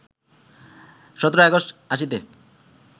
১৭ August ৮০তে